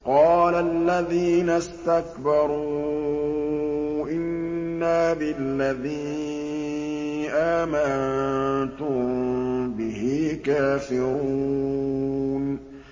قَالَ الَّذِينَ اسْتَكْبَرُوا إِنَّا بِالَّذِي آمَنتُم بِهِ كَافِرُونَ